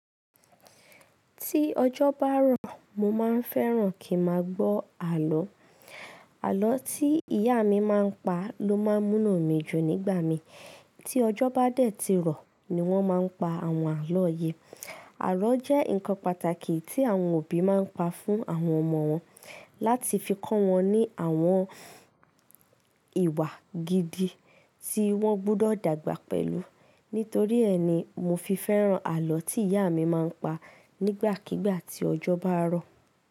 Tí ọjọ́ bá rọ̀, mo máa ń fẹ́ràn kí n máa gbọ́ àlọ́. Àlọ́ tí ìyá mi máa ń pa ló máa ń múnú mi dùn nígbà míì. Tí ọjọ́ bá dẹ̀ ti rọ̀, ní wọ́n máa pa àwọn àlọ́ yẹn. Àlọ́ jẹ́ ǹkan pàtàkì tí àwọn òbí máa ń pa fún àwọn ọmọ wọn láti fi kọ́ wọn ní àwọn ìwà gidi tí wọ́n gbọdọ̀ dàgbà pẹ̀lú. Nítorí ẹni, mo fi fẹ́ràn àlọ́ tí ìyá mi máa ń pa nígbàkígbà tí ọjọ́ bá rọ̀.